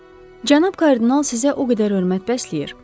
Cənab kardinal sizə o qədər hörmət bəsləyir.